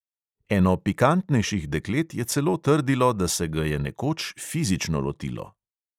Eno pikantnejših deklet je celo trdilo, da se ga je nekoč fizično lotilo.